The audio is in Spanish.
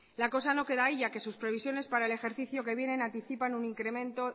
la cosa no queda ahí ya que sus previsiones para el ejercicio que viene anticipan un incremento